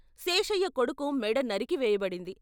శేషయ్య కొడుకు మెడ నరికివేయబడింది.